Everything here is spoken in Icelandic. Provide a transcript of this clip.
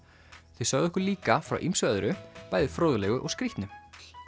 þau sögðu okkur líka frá ýmsu öðru bæði fróðlegu og skrítnu